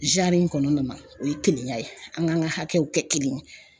in kɔnɔ o ye kelenya ye an ŋan ka hakɛw kɛ kelen ye.